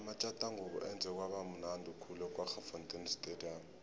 amatjathangubo enze kwaba mnundi khulu ekwaggafontein stadium